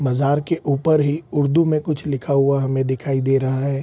बाजार के ऊपर ही उर्दू मे कुछ लिखा हुआ हमे दिखाई दे रहा है।